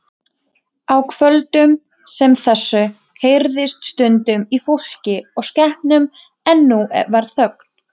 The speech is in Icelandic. Á kvöldum sem þessu heyrðist stundum í fólki og skepnum en nú var þögn.